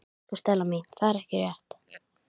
Elsku Stella mín, það er ekki rétt.